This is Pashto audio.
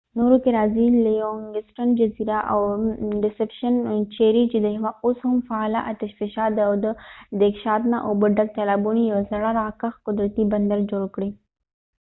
نورو کې راځي لیونګسټن جزیره او ډیسپشن چېرې چې د یوه اوس هم فعاله اتشفشان د دېګشانته اوبه ډک تالابونو یو زړه راکښ قدرتي بندر جوړ کړی